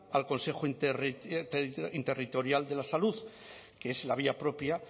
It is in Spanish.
al consejo interterritorial de la salud que es la vía propia